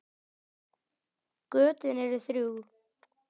Götin eru þrjú.